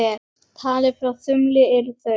Talið frá þumli eru þau